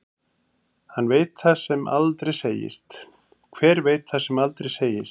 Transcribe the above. Hver veit það sem aldrei segist.